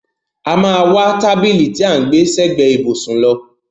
A máa wá tábìlì tí à ń gbẹ́ sẹ́gbẹ ìbùsùn lọ.